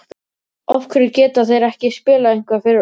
af hverju geta þeir ekki spilað eitthvað fyrir okkur?